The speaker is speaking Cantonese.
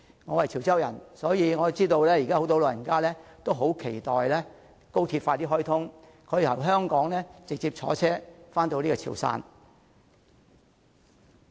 我是潮州人，所以我知道現時有很多長者也很期待高鐵盡快開通，可以由香港直接乘車前往潮汕。